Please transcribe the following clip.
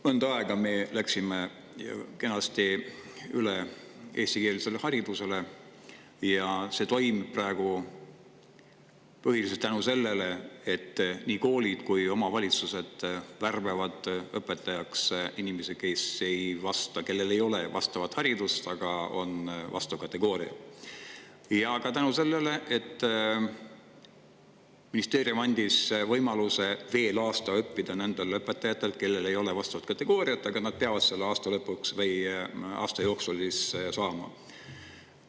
Mõnda aega me kenasti üle eestikeelsele haridusele ja see toimub praegu põhiliselt tänu sellele, et nii koolid kui ka omavalitsused värbavad õpetajaks inimesi, kellel ei ole vastavat haridust, aga on vastav kategooria, ja ka tänu sellele, et ministeerium andis võimaluse veel aasta õppida nendel õpetajatel, kellel ei ole vastavat kategooriat, aga nad peavad selle aasta jooksul saama.